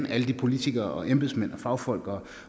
alle de politikere embedsmænd fagfolk